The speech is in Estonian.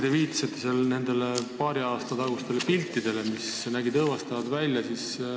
Te viitasite nendele paari aasta tagustele piltidele, mis nägid õõvastavad välja.